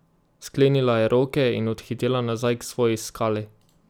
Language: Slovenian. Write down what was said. Sklenila je roke in odhitela nazaj k svoji skali.